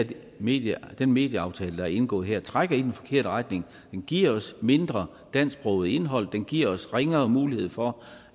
den medieaftale medieaftale der er indgået her trækker i den forkerte retning den giver os mindre dansksproget indhold og den giver os ringere mulighed for